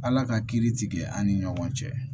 Ala ka kiiri tigɛ an ni ɲɔgɔn cɛ